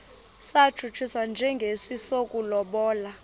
satshutshiswa njengesi sokulobola